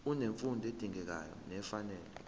unemfundo edingekayo nefanele